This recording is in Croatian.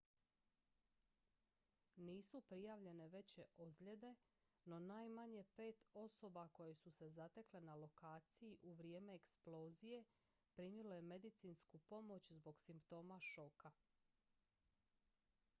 nisu prijavljene veće ozljede no najmanje pet osoba koje su se zatekle na lokaciji u vrijeme eksplozije primilo je medicinsku pomoć zbog simptoma šoka